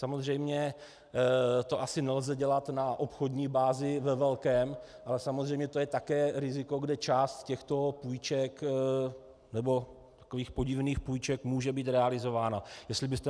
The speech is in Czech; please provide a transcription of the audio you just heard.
Samozřejmě to asi nelze dělat na obchodní bázi ve velkém, ale samozřejmě to je také riziko, kde část těchto půjček, nebo takových podivných půjček, může být realizována.